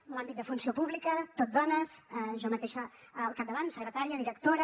en l’àmbit de funció pública tot dones jo mateixa al capdavant secretària directora